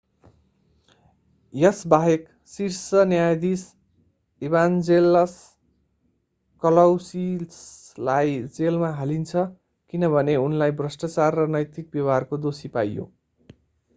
यसबाहेक शीर्ष न्यायाधीश ईभान्जेलस कलौसिसलाई जेलमा हालिन्छ किनभने उनलाई भ्रष्टाचार र नैतिक व्यवहारको दोषी पाइयो